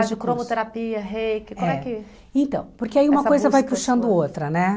de curso. Com trabalho de cromoterapia, reiki, é como é que... Então, porque aí uma coisa vai puxando outra, né?